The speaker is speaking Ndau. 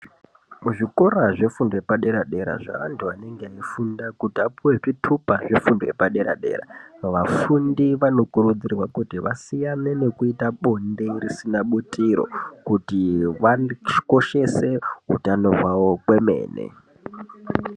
Muzvikora zvefundo yepadera-dera zveantu anenge eifunda kuti vapiwe zvitupa zvefundo yepadera-dera, vafundi vanokurudzirwa kuti vasiyane nekuita bonde risina butiro kuti vakoshese utano hwavo kwemene.